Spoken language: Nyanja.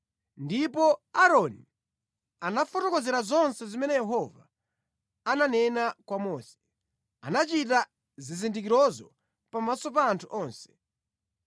Ndipo Aaroni anawafotokozera zonse zimene Yehova ananena kwa Mose. Anachita zizindikirozo pamaso pa anthu onse,